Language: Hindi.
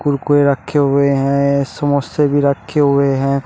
रखे हुए है समोसे भी रखे हुए है।